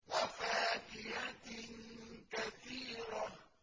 وَفَاكِهَةٍ كَثِيرَةٍ